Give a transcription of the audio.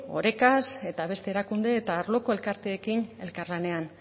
orekaz eta beste erakunde eta arloko elkarteekin elkarlanean